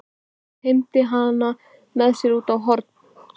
Teymdi hana með sér út á horn.